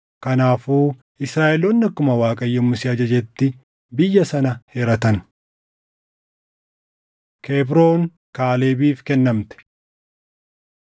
Kanaafuu Israaʼeloonni akkuma Waaqayyo Musee ajajetti biyya sana hiratan. Kebroon Kaalebiif Kennamte